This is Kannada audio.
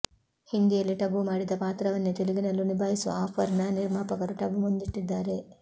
ಹಿಂದಿಯಲ್ಲಿ ಟಬು ಮಾಡಿದ್ದ ಪಾತ್ರವನ್ನೇ ತೆಲುಗಿನಲ್ಲೂ ನಿಭಾಯಿಸುವ ಆಫರ್ ನ ನಿರ್ಮಾಪಕರು ಟಬು ಮುಂದಿಟ್ಟಿದ್ದಾರೆ